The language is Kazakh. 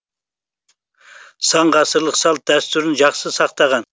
сан ғасырлық салт дәстүрін жақсы сақтаған